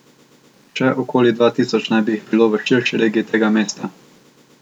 Še okoli dva tisoč naj bi jih bilo v širši regiji tega mesta.